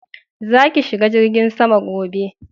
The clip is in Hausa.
Za ki shiga jirgin sama gobe